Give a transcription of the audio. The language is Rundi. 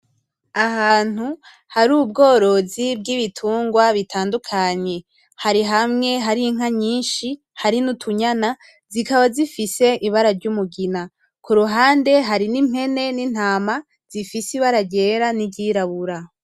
Ahantu hari ubworozi bwibitungwa bitandukanye, hari hamwe hari inka nyinshi hari n'utunyana zikaba zifise ibara ryumugina. Kuruhande hari nimpene nintama zifise ibara ryera niryirabura.